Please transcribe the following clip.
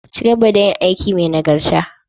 Ka ci gaba da yin aiki mai nagarta.